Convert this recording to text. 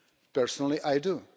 Personally I do.